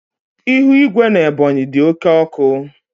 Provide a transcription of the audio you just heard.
Ihu igwe n'Ebonyi dị oke ọkụ